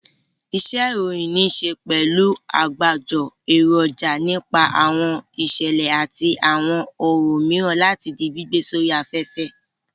Iṣẹ́-ìròyìn níṣe pẹ̀lú àgbájọ èròjà nípa àwọn ìṣẹ̀lẹ̀ àti àwọn ohun mìíràn láti di gbígbé sórí afẹ́fẹ́.